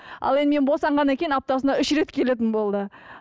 ал енді мен босанғаннан кейін аптасына үш рет келетін болды